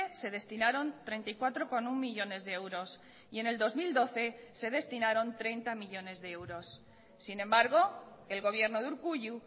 se destinaron treinta y cuatro coma uno millónes de euros y en el dos mil doce se destinaron treinta millónes de euros sin embargo el gobierno de urkullu